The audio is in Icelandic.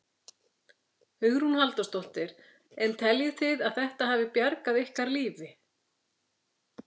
Hugrún Halldórsdóttir: En teljið þið að þetta hafi bjargað ykkar lífi?